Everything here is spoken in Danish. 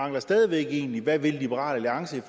mangler stadig væk egentlig hvad vil liberal alliance i